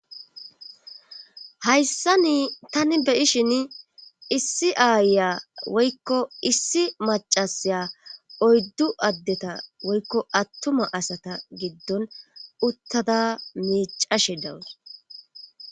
hayssa ni tani beyishin issi aaya woykko issi macasaya oyddu addeta woykko attuma asata giddon uttada mecashe dawus